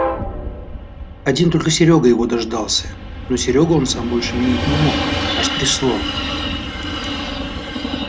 один только серёга его дождался но серёгу он сам больше видеть не мог аж трясло